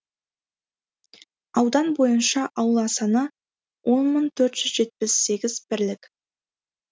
аудан бойынша аула саны он мың төрт жүз жетпіс сегіз бірлік